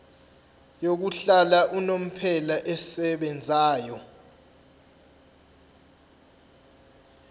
yokuhlala unomphela esebenzayo